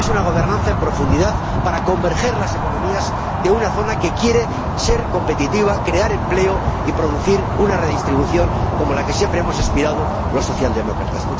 Es una gobernanza en profundidad, para hacer converger las economías de una forma que quiere ser competitiva, crear empleo y producir una redistribución como a la que siempre hemos aspirado los socialdemócratas.